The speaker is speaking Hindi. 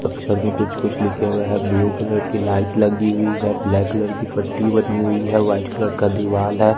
अक्षर में कुछ कुछ लिखे हुए है ब्लू कलर की लाइट लगी हुई है ब्लैक कलर की पट्टी बनी हुई है व्हाइट कलर का दीवाल है।